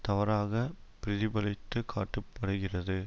தவறாக பிரதிபலித்து காட்ட படுகிறது